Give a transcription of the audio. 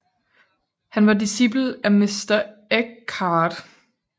Han var dicipel af Mester Eckhart